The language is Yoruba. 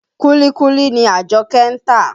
Kúlíkúlí ni Àjọ́kẹ́ ń tà.